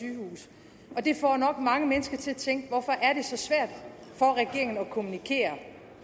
har det får nok mange mennesker til at tænke hvorfor er det så svært for regeringen at kommunikere